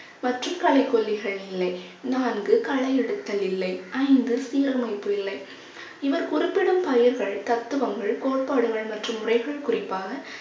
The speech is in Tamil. மற்றும் களைக்கொல்லிகள் நிலை நான்கு களை எடுத்தல் இல்லை ஐந்து சீரமைப்பு இல்லை இவர் குறிப்பிடும் பயிர்கள் தத்துவங்கள் கோட்பாடுகள் மற்றும் முறைகள் குறிப்பாக